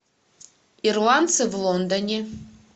ирландцы в лондоне